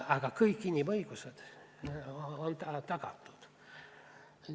Aga kõik inimõigused on kõigile tagatud.